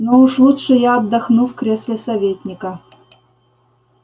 но уж лучше я отдохну в кресле советника